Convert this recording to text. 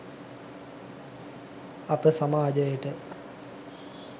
අප සමාජයට